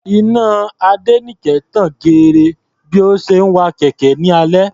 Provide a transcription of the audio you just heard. Iná Adéníkẹ tan geere bí ó ṣe wa kẹ̀kẹ́ ní alẹ́.